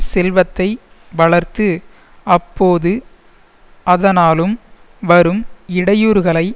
செல்வத்தை வளர்த்து அப்போது அதனாலும் வரும் இடையூறுகளை